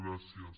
gràcies